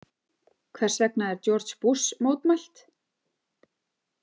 Hvers vegna er George Bush mótmælt?